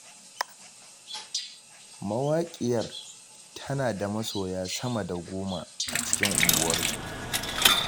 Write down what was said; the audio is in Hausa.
Mawaƙiyar tana da masoya sama da goma a cikin unguwarsu.